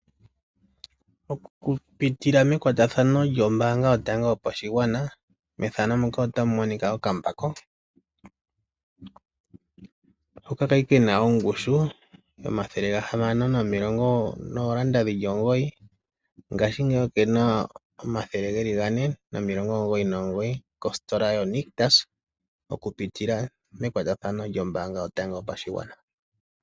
Okupitila mekwatathano lyombaanga yotango yopashigwana, opu na okambako hoka ka li ke na ongushu N$ 609, ngaashingeyi oke na N$ 499 kositola yoNictus okupitila mekwatathano lyombaanga yotango yopashigwana.